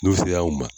N'u sera u ma